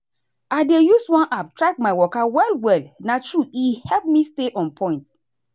i dey use one app track my waka well well na truth e help me stay on point.